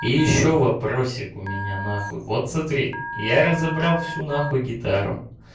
и ещё вопросик у меня на ха хуй вот смотри я разобрал всю на хуй гитару